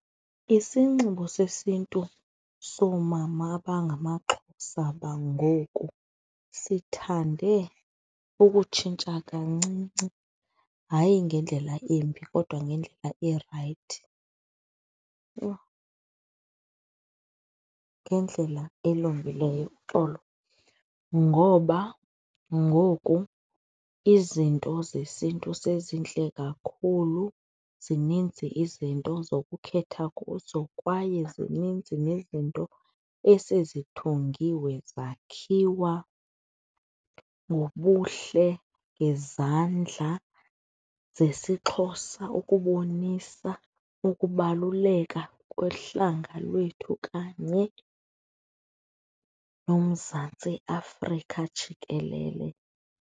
Isinxibo sesiNtu soomama abangamaXhosa bangoku sithande ukutshintsha kancinci, hayi ngendlela embi kodwa ngendlela erayithi. Yho! Ngendlela elungileyo, uxolo. Ngoba ngoku izinto zesiNtu sezintle kakhulu zininzi izinto zokukhetha kuzo kwaye zininzi nezinto esezithungiwe zakhiwa ngobuhle, ngezandla zesiXhosa ukubonisa ukubaluleka kohlanga lwethu kanye noMzantsi Afrika jikelele.